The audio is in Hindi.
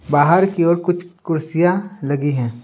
बाहर की ओर कुछ कुर्सियां लगी हैं।